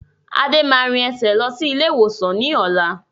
Adé máa rìn ẹsẹ̀ lọ sí ilé ìwòsàn ni ọ̀la